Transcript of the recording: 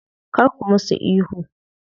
Kar ka musu ihu.